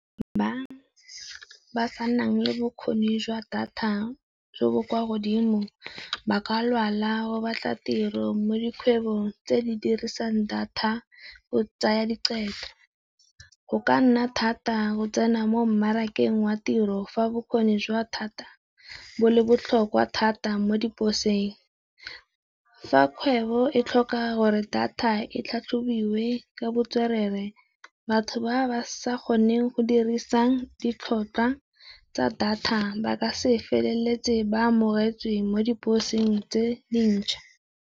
Ba sa nang le bokgone jwa data jo bo kwa godimo, ba ka lwala go batla tiro mo dikgwebong tse di dirisang data o tsaya Go ka nna thata go tsena mo mmarakeng wa tiro fa bokgone jwa data bo le botlhokwa thata mo diposeng. Fa kgwebo e tlhoka gore data e tlhatlhobiwe ka botswerere, batho ba ba sa kgoneng go dirisang ditlhotlhwa tsa data ba ka se feleletse ba amogetswe mo diposeng tse dintšha.